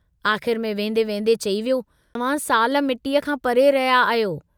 आख़िर में वेन्दे वेन्दे चई वियो तव्हां साल मिट्टीअ खां परे रहिया आहियो।